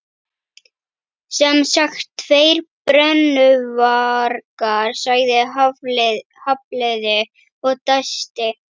Sem sagt, tveir brennuvargar sagði Hafliði og dæsti.